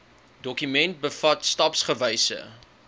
dokument bevat stapsgewyse